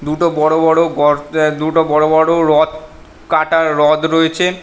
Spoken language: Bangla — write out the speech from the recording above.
দুটো বড়ো বড়ো গড় আ - দুটো বড়ো বড়ো হ্রদ কাটার হ্রদ রয়েছে